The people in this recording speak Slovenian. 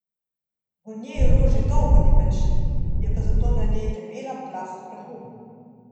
V njej rož že dolgo več ni, je pa zato na njej debela plast prahu.